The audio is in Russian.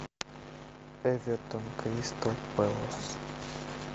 эвертон кристал пэлас